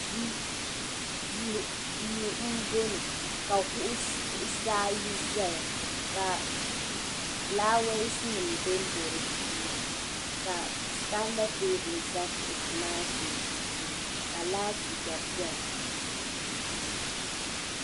Duu m bo ŋɔ ka kuɣusaa ayi zaya ka fulaawisinim ʒenʒe di puuni ka santa teebuli za kuɣusi maa sunsuuni ka laati gba bɛini.